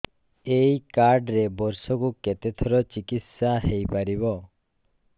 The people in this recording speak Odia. ଏଇ କାର୍ଡ ରେ ବର୍ଷକୁ କେତେ ଥର ଚିକିତ୍ସା ହେଇପାରିବ